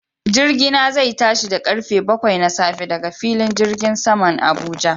Jirgina zai tashi da karfe bakwai na safe daga filin jirgin saman Abuja